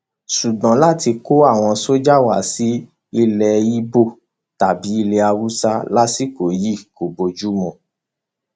ṣùgbọn láti kó àwọn sójà wá sí ilé ibo tàbí ilé haúsá lásìkò yìí kò bójú mu